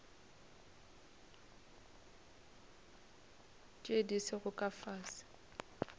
tše di sego ka fase